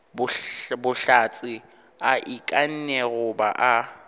bohlatse a ikanne goba a